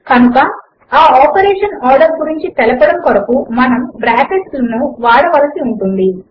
కనుక ఆ operation order గురించి తెలపడము కొరకు మనము బ్రాకెట్లను వాడవలసి ఉంటుంది